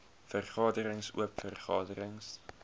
vergaderings oop vergaderings